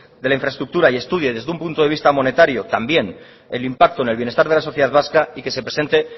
de la infraestructura y estudie desde un punto de vista monetario también el impacto en el bienestar de la sociedad vasca y que se presente